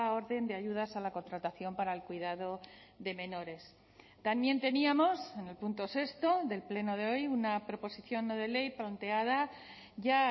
orden de ayudas a la contratación para el cuidado de menores también teníamos en el punto sexto del pleno de hoy una proposición no de ley planteada ya